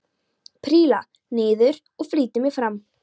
Príla niður og flýti mér fram.